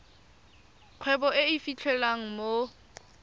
kgwebo e e fitlhelwang mo